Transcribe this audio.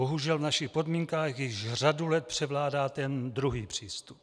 Bohužel v našich podmínkách již řadu let převládá ten druhý přístup.